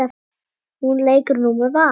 Hún leikur nú með Val.